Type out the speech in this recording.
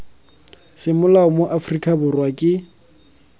semolao mo aforika borwa ke